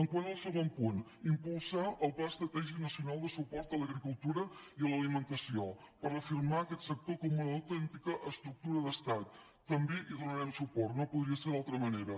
quant al segon punt impulsar el pla estratègic na·cional de suport a l’agricultura i a l’alimentació per reafirmar aquest sector com una autèntica estructu·ra d’estat també hi donarem suport no podria ser d’altra manera